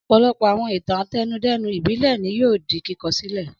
Ọ̀pọ̀lọpọ̀ àwọn ìtàn àtẹnudẹ́nu ìbílẹ̀ ni yóò di kíkọ́ sílẹ̀.